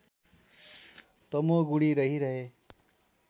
तमोगुणी रहिरहे